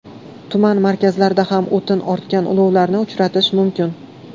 Tuman markazlarida ham o‘tin ortgan ulovlarni uchratish mumkin.